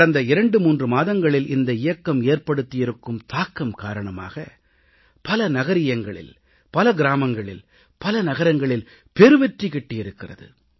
கடந்த 23 மாதங்களில் இந்த இயக்கம் ஏற்படுத்தியிருக்கும் தாக்கம் காரணமாக பல நகரியங்களில் பல கிராமங்களில் பல நகரங்களில் பெருவெற்றி கிட்டியிருக்கிறது